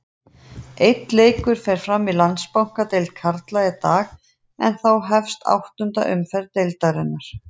Einn leikur fer fram í Landsbankadeild karla í dag en þá hefst áttunda umferð deildarinnar.